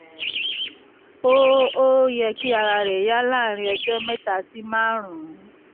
ó ó yẹ kí ara rẹ yá láàárín ọjọ́ mẹ́ta sí márùn-ún